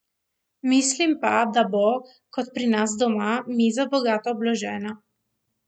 Mislim pa, da bo, tako kot pri nas doma, miza bogato obložena.